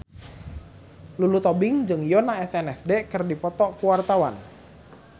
Lulu Tobing jeung Yoona SNSD keur dipoto ku wartawan